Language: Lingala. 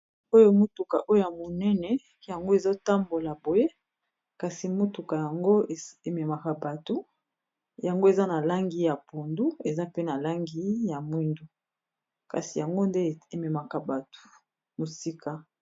Oyo motuka oyo ya monene yango ezotambola boye kasi motuka yango ememaka bato yango eza na langi ya pondu eza pe na langi ya mwindu kasi yango nde ememaka bato mosika.